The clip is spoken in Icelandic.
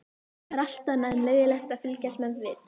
Það er allt annað en leiðinlegt að fylgjast með við